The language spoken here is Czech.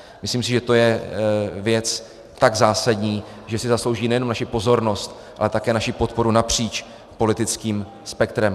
Myslím si, že to je věc tak zásadní, že si zaslouží nejenom naši pozornost, ale také naši podporu napříč politickým spektrem.